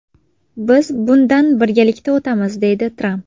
Biz bundan birgalikda o‘tamiz!”, deydi Tramp.